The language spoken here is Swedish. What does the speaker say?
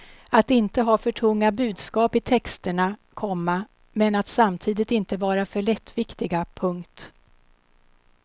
Att inte ha för tunga budskap i texterna, komma men att samtidigt inte vara för lättviktiga. punkt